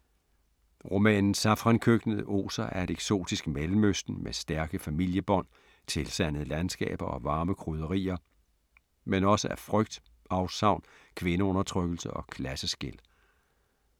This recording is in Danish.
Romanen Safrankøkkenet oser af et eksotisk Mellemøsten med stærke familiebånd, tilsandede landskaber og varme krydderier, men også af frygt, afsavn, kvindeundertrykkelse og klasseskel.